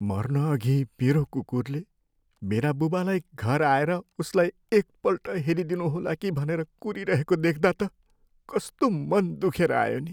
मर्नअघि मेरो कुकुरले मेरा बुबालाई घर आएर उसलाई एकपल्ट हेरिदिनुहोला कि भनेर कुरीरहेको देख्दा त कस्तो मन दुखेर आयो नि।